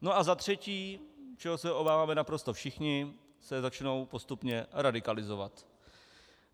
No, a za třetí - čeho se obáváme naprosto všichni - se začnou postupně radikalizovat.